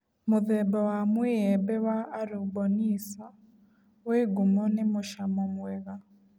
Mũthemba wa mũĩembe wa Aruboniso wĩ ngumo nĩ mũcamo mwega